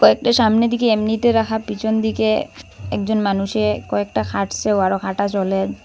একটা সামনে দিকে এমনিতে রাখা পিছন দিকে একজন মানুষে কয়েকটা খাটছে আরও খাটা ।